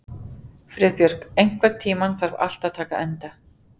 Friðbjörg, einhvern tímann þarf allt að taka enda.